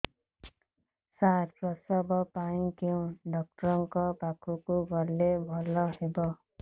ସାର ପ୍ରସବ ପାଇଁ କେଉଁ ଡକ୍ଟର ଙ୍କ ପାଖକୁ ଗଲେ ଭଲ ହେବ